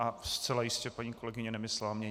A zcela jistě paní kolegyně nemyslela mě.